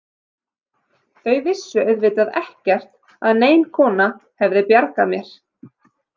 Þau vissu auðvitað ekkert að nein kona hefði bjargað mér.